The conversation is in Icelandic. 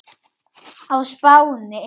á Spáni.